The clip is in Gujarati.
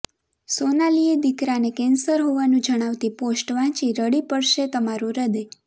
સોનાલીએ દીકરાને કેન્સર હોવાનું જણાવતી પોસ્ટ વાંચી રડી પડશે તમારું હૃદય